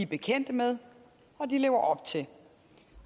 bekendt med og lever op til